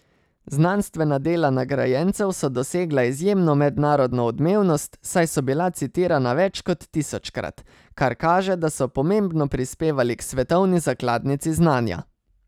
Znanstvena dela nagrajencev so dosegla izjemno mednarodno odmevnost, saj so bila citirana več kot tisočkrat, kar kaže, da so pomembno prispevali k svetovni zakladnici znanja.